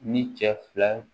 Ni cɛ fila